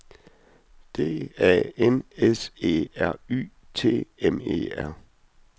D A N S E R Y T M E R